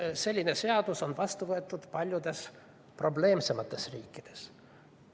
Selline seadus on vastu võetud ka paljudes probleemsemates riikides.